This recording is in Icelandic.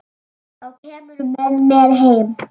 Þá kemurðu með mér heim.